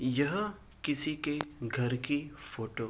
यह किसी के घर की फोटो --